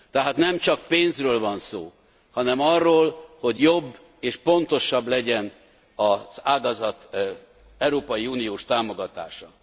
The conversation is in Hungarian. Tehát nemcsak pénzről van szó, hanem arról, hogy jobb és pontosabb legyen az ágazat európai uniós támogatása.